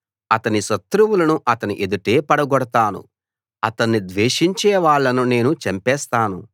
అతని శత్రువులను అతని ఎదుటే పడగొడతాను అతన్ని ద్వేషించే వాళ్ళను నేను చంపేస్తాను